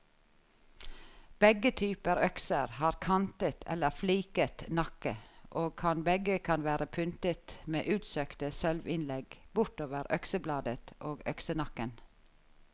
Begge typer økser har kantet eller fliket nakke, og begge kan være pyntet med utsøkte sølvinnlegg bortover øksebladet og øksenakken.